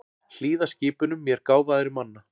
Hlýða skipunum mér gáfaðri manna.